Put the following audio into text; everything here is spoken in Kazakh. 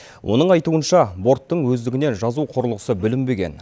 оның айтуынша борттың өздігінен жазу құрылғысы бүлінбеген